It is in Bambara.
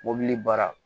Mobili baara